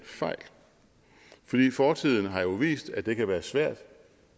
for fortiden har jo vist at det kan være svært